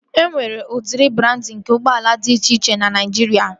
E nwere udiri brandị nke ụgbọala dị iche iche na Naijiria